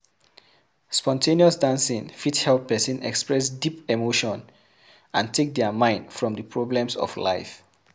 Spon ten ous dancing fit help person express deep emotion and take their mind from di problems of life